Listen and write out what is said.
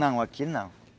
Não, aqui não.